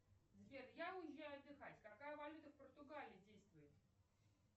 сбер я уезжаю отдыхать какая валюта в португалии действует